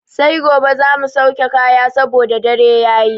Sai gobe za mu sauke kaya saboda dare yayi.